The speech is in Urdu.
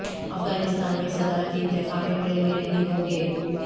افغانستان میں صدارتی انتخاب اپریل میں نہیں ہوں گے